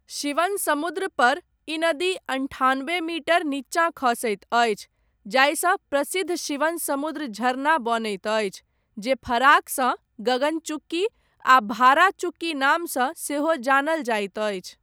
शिवनसमुद्रपर, ई नदी अनठानबे मीटर नीचाँ खसैत अछि, जाहिसँ प्रसिद्ध शिवनसमुद्र झरना बनैत अछि, जे फराकसँ, गगन चुक्की आ भारा चुक्की नामसँ, सेहो जानल जाइत अछि।